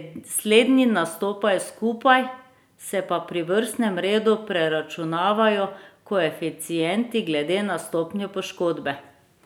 Slednji nastopajo skupaj, se pa pri vrstnem redu preračunavajo koeficienti glede na stopnjo poškodbe.